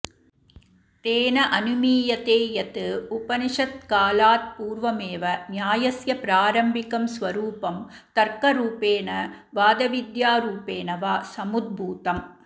तेन अनुमीयते यत् उपनिषत्कालात्पूर्वमेव न्यायस्य प्रारम्भिकं स्वरूपं तर्करूपेण वादविद्यारूपेण वा समुद्भूतम्